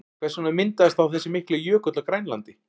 Hvers vegna myndaðist þá þessi mikli jökull á Grænlandi?